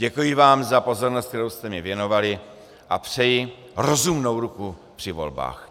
Děkuji vám za pozornost, kterou jste mi věnovali, a přeji rozumnou ruku při volbách.